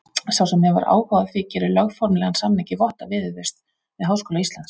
Sá sem hefur áhuga á því gerir lögformlegan samning í votta viðurvist við Háskóla Íslands.